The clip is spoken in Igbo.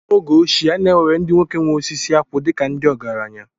N’oge ochie, a na-ewere ndị nwoke nwe osisi akwụ dịka ndị ọgaranya